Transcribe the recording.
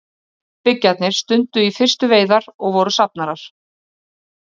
Frumbyggjarnir stunduðu í fyrstu veiðar og voru safnarar.